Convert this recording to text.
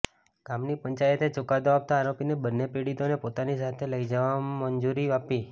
ગામની પંચાયતે ચુકાદો આપતાં આરોપીને બંને પીડિતાને પોતાની સાથે લઇ જવા મંજૂરી આપી